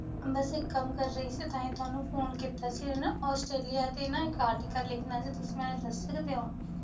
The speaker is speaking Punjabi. ਬਸ ਇੱਕ ਕੰਮ ਕਰ ਰਹੀ ਸੀ ਤਾਂਹੀ ਤੁਹਾਨੂੰ ਫੋਨ ਕੀਤਾ ਸੀ ਹਨਾਂ ਆਸਟ੍ਰੇਲੀਆ ਤੇ ਨਾ ਇੱਕ article ਲਿਖਣਾ ਸੀ, ਤੁਸੀ ਮੈਨੂੰ ਦੱਸ ਸਕਦੇ ਹੋ?